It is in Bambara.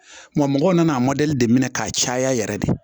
Wa mɔgɔw nan'a de minɛ k'a caya yɛrɛ de